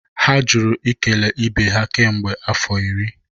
ha jụrụ ikele ibe ha kemgbe afọ iri